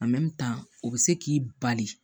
o bɛ se k'i bali